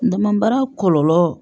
N damara kɔlɔlɔ